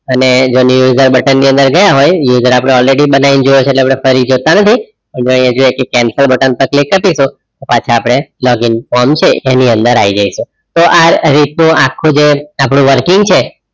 અને ઘણી વખત button ની અંદર ગયાં હોય user આપડે પહેલીથી જ બનાવી દીધું છે એટલે આપડે ફરીથી જોતાં નથી ને જો અહિયાથી આપડે cancel button પર click કરી દઇશું તો પાછાં આપડે log in form છે એની અંદર આઈ જઈશું તો આ રીતનું આપડું જે આખું working છે,